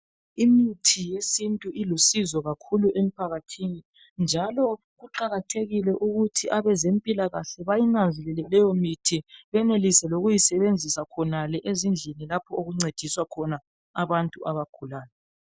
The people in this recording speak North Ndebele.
Imithi yesintu ilusizo kakhulu emphakathini njalo kuqakathekile ukuthi abezempilakahle bayinanzelele leyomithi benelise lokuyisebenzisa khonale ezindlini lapho okuncediswa khona abantu abagulayo.